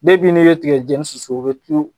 Depi n'i be tigɛjɛni susu o be tulu